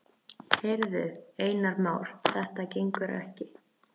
Heyrðu, Einar Már, þetta gengur ekki.